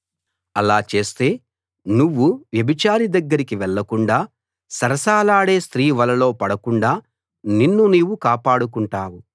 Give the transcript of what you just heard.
అలా చేస్తే నువ్వు వ్యభిచారి దగ్గరికి వెళ్ళకుండా సరసాలాడే స్త్రీ వలలో పడకుండా నిన్ను నీవు కాపాడుకుంటావు